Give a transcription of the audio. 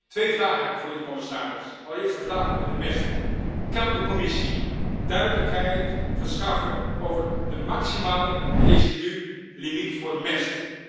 Twee vragen heb ik voor u, commissaris. Allereerst een vraag over de mest kan de Commissie duidelijkheid verschaffen over de maximale residulimiet voor mest?